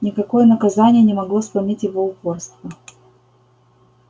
никакое наказание не могло сломить его упорство